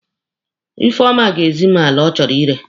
Ifeoma ga-ezi m ala ọ chọrọ ire.